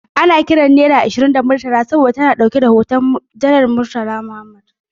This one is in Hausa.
Ana kiran naira ashirin da Murtala saboda ta na dauke da hoton Janar Murtala Mohammed.